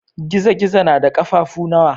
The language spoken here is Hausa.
Gizo-gizo na da ƙafafu nawa?